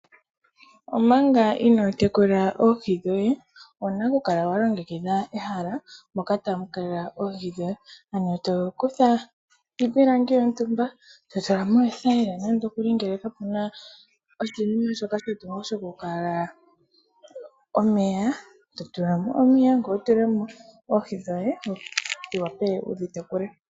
Omaanga ino tekula oohi dhoye owuna okukala wa longekidha ehala moka tamu kala oohi dhoye . Ano tokutha iipilangi yontumba totulamo oothayila ngele kapuna oshinima shoka shokukala omeya ,totuamo omeya ngoye wutulemo oohi dhoye wuwape wudhi tekule.